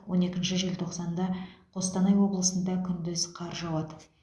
он екінші желтоқсанда қостанай облысында күндіз қар жауады